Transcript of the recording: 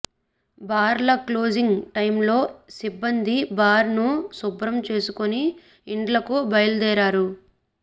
bar closing time లో సిబ్బంది bar ను శుభ్రం చేసుకొని ఇండ్లకు బయలుదేరారు